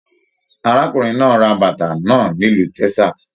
Arákùnrin náà ra bàtà náà nílu Texas